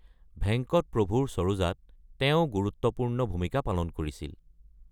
ভেঙ্কট প্ৰভূৰ চৰোজা ত তেওঁ গুৰুত্বপূৰ্ণ ভূমিকা পালন কৰিছিল।